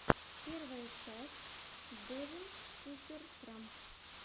первая часть девин супер трамп